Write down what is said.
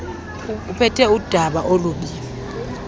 uphethe udaba olubi